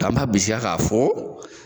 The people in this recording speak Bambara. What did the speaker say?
k'an ba bisikiya ka fɔ